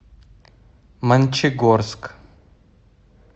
мончегорск